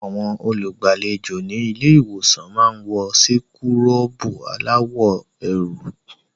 Àwọn olùgbàlejò ní ilé-ìwòsàn máa ń wọ síkúrọ̀bù aláwọ̀ eérú.